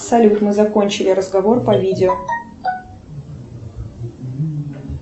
салют мы закончили разговор по видео